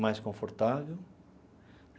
mais confortável.